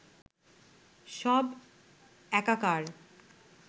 সব একাকার